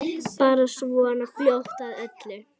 Bara svona fljót að öllu.